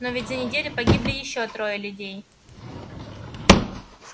но ведь за неделю погибли ещё трое людей